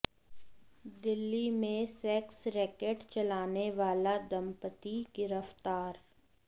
दिल्ली में sex racket चलाने वाला दंपति गिरफ्तार